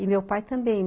E meu pai também.